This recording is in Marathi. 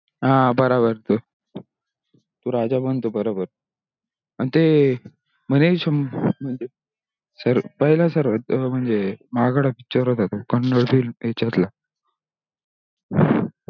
हा बराबर. तो राजा बनतो बराबर. अन ते म्हणे शंभर ते पहिल्या सर्वात महागडा picture होता तो कननाड film याच्यातला